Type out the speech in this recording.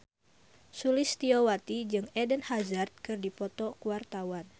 Sulistyowati jeung Eden Hazard keur dipoto ku wartawan